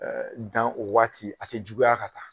dan o waati, a te juguya ka taa